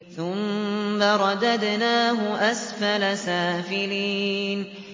ثُمَّ رَدَدْنَاهُ أَسْفَلَ سَافِلِينَ